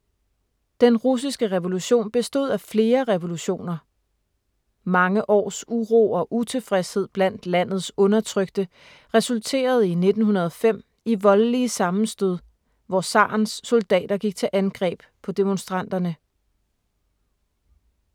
Den russiske revolution bestod af flere revolutioner. Mange års uro og utilfredshed blandt landets undertrykte resulterede i 1905 i voldelige sammenstød, hvor zarens soldater gik til angreb på demonstranterne.